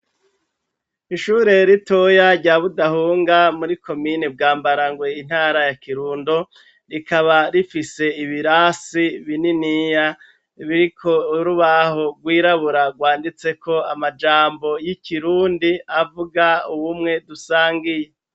Ishure ritoya rya Budahunga muri komine Bwambarangwe intara ya Kirundo, rikaba rifise ibirasi bininiya biriko urubaho rwirabura rwanditseko amajambo y'ikirundi avuga ubumwe dusangiye.